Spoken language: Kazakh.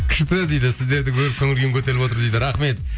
күшті дейді сіздерді көріп көңіл күйім көтеріліп отыр дейді рахмет